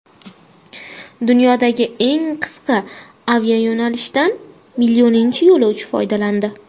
Dunyodagi eng qisqa aviayo‘nalishdan millioninchi yo‘lovchi foydalandi.